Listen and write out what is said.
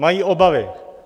Mají obavy.